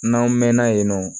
N'an mɛɛnna yen nɔ